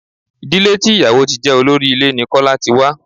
Ìdílé tí ìyàwò ti jẹ́ olórí ilé ní Kọ́lá ti wá.